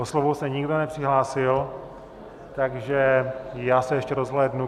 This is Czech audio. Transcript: O slovo se nikdo nepřihlásil, takže já se ještě rozhlédnu...